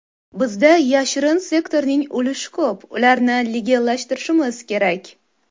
Bizda yashirin sektorning ulushi ko‘p, ularni legallashtirishimiz kerak.